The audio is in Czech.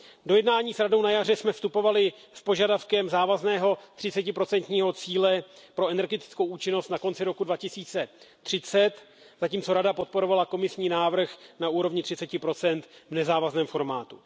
Do jednání s Radou jsme na jaře vstupovali s požadavkem závazného třicetiprocentního cíle pro energetickou účinnost na konci roku 2030, zatímco Rada podporovala komisní návrh na úrovni třiceti procent v nezávazném formátu.